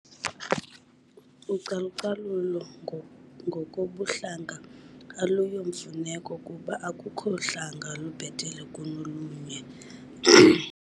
Ucalucalulo ngokobuhlanga aluyomfuneko kuba akukho hlanga lubhetele kunolunye.